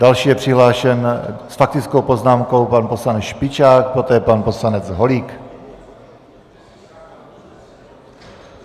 Další je přihlášen s faktickou poznámkou pan poslanec Špičák, poté pan poslanec Holík.